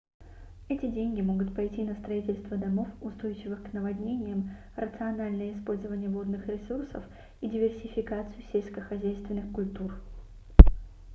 эти деньги могут пойти на строительство домов устойчивых к наводнениям рациональное использование водных ресурсов и диверсификацию сельскохозяйственных культур